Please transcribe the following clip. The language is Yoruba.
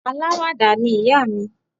Aláwàdà ni ìyá mi